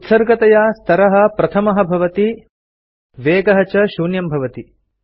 उत्सर्गतया स्तरः प्रथमः भवति वेगः च शून्यं भवति